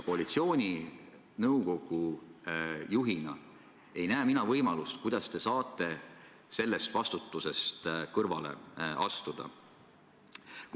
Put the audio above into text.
Koalitsiooninõukogu juhina ei näe mina võimalust, kuidas te saate sellest vastutusest kõrvale astuda.